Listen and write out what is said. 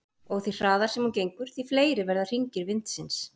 Og því hraðar sem hún gengur því fleiri verða hringir vindsins.